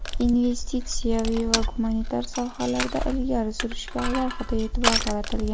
investitsiyaviy va gumanitar sohalarda ilgari surishga alohida e’tibor qaratilgan.